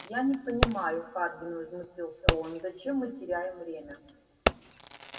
я не понимаю хардин возмутился он зачем мы теряем время